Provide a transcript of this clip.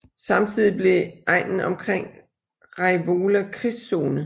Samtidig blev egnen omkring Raivola krigszone